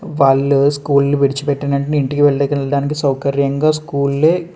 వాళ్ళు స్కూల్ విడిచి పెట్టిన వెంటనే ఇంటికి వెళ్ళడానికి సౌకర్యంగా స్కూల్ లే --